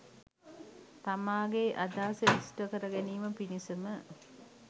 තමාගේ අදහස ඉෂ්ට කරගැනීම පිණිසම